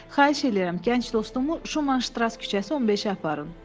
“Xahiş eləyirəm, gənc dostumu Şumanştras küçəsi 15-ə aparın.”